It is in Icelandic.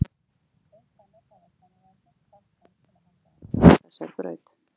Auk hennar hafa kennararnir hvatt hann til að halda áfram á þessari braut.